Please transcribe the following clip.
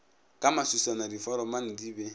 ka maswiswana diforomane di be